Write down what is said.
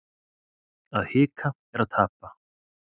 Að hika er að tapa